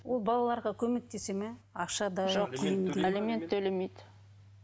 ол балаларға көмектесе ме ақшадай жоқ алимент төлемейді